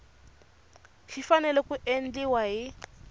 xi fanele ku endliwa hi